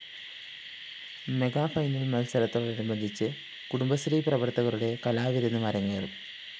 mega final‍ മത്സരത്തോടനുബന്ധിച്ച് കുടുംബശ്രീ പ്രവര്‍ത്തകരുടെ കലാവിരുന്നും അരങ്ങേറും